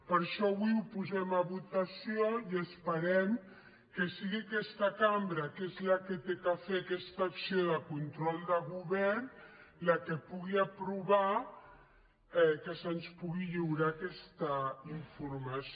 per això avui ho posem a votació i esperem que sigui aquesta cambra que és la que ha de fer aquesta acció de control de govern la que pugui aprovar que se’ns pugui lliurar aquesta informació